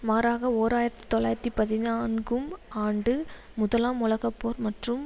மாறாக ஓர் ஆயிரத்தி தொள்ளாயிரத்தி பதினான்கும் ஆண்டு முதலாம் உலக போர் மற்றும்